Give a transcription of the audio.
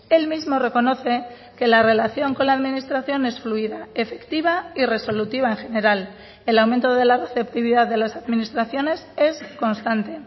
él mismo reconoce que la relación con la administración es fluida efectiva y resolutiva en general el aumento de la receptividad de las administraciones es constante